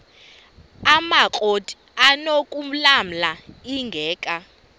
amakrot anokulamla ingeka